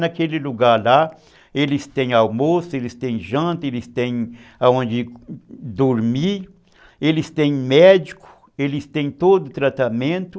Naquele lugar lá, eles têm almoço, eles têm janta, eles têm onde dormir, eles têm médico, eles têm todo o tratamento.